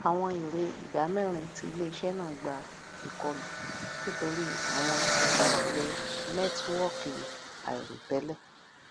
àwọn èrè ìdámẹrin ti iléiṣẹ náà gba ikọlu nítorí àwọn ìjakulẹ nẹtíwọọkì àìròtẹlẹ